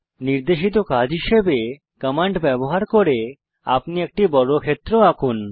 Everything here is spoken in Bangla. নির্দেশিত কাজ হিসেবে কমান্ড ব্যবহার করে আপনি একটি বর্গক্ষেত্র আঁকুন